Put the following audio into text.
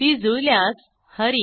ती जुळल्यास हरी